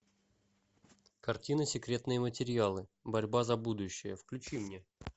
картина секретные материалы борьба за будущее включи мне